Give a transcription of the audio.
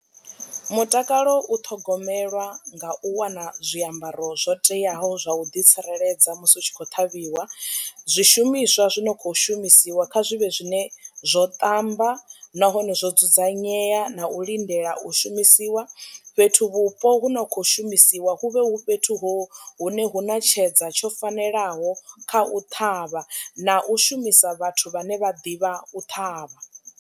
Mutakalo u ṱhogomelwa nga u wana zwiambaro zwo teaho zwa u ḓi tsireledza musi u tshi khou ṱhavhiwa, zwishumiswa zwi no kho shumisiwa kha zwivhe zwine zwo ṱamba nahone zwo dzudzanyea na u lindela u shumisiwa. Fhethuvhupo hu no kho shumisiwa huvhe hu fhethu ho hune hu na tshedza tsho fanelaho kha u ṱhavha na u shumisa vhathu vhane vha ḓivha u ṱhavha.